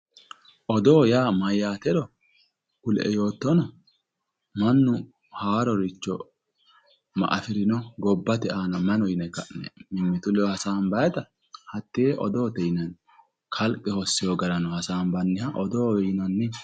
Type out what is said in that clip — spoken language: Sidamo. Odoo yaa mayatero kulie yoottonna Mannu haaroricho Maa affirino, gobbate aana mayi no yinne ka'ne mimmitu ledo hasaambannitta hatte odoote yinnanni kalqe hossino garano hasaambanniha odootewe yinnanni.